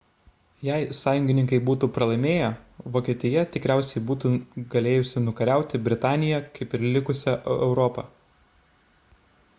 jei sąjungininkai būtų pralaimėję vokietija tikriausiai būtų galėjusi nukariauti britaniją kaip ir likusią europą